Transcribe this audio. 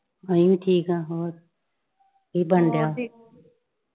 ਅਸੀਂ ਵੀ ਠੀਕ ਆਂ ਹੋਰ ਕੀ ਬਣਨ ਡਿਆਂ।